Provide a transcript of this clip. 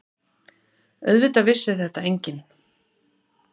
Auðvitað vissi þetta enginn.